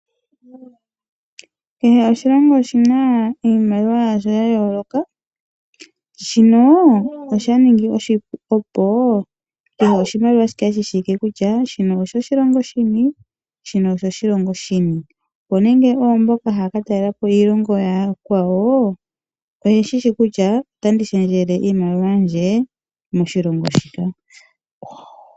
Kehe oshilongo oshina iimaliwa yasho yayooloka, shika osha ningi oshipu opo kehe oshimaliwa shi kale shi shiwike kutya, shino osho koshilongo shini, shino osho koshilongo shini, onge ne oomboka haya katalelapo iilongo ya yakwawo, oye shishi kutya oyena oku shendjela iimaliwa yawo kwambi yomo shilongo shoka.